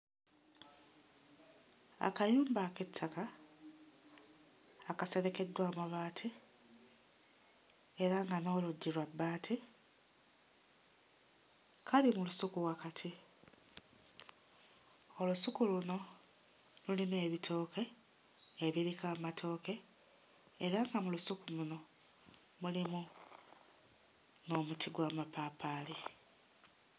Akayumba ak'ettaka akaserekeddwa amabaati era nga n'oluggi lwa bbaati kali mu lusuku wakati. Olusuku luno lulimu ebitooke ebiriko amatooke era nga mu lusuku luno mulimu n'omuti gw'amapaapaali.